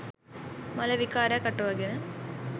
මල විකාරයක් අටවාගෙන